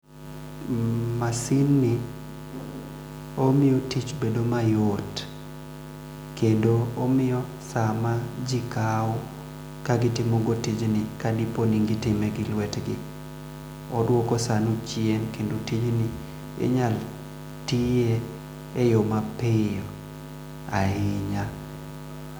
Masin ni omiyo tich bedo mayot kendo omiyo saa maji kao ka gitimo go tijni kadiponi gitime gi lwetgi odwoko saa no chien kendo tijni inyal tiye e yoo ma piyo ahinya.